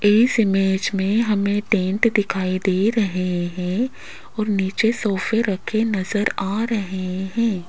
इस इमेज में हमें टेंट दिखाई दे रहे हैं और नीचे सोफे रखे नजर आ रहे हैं।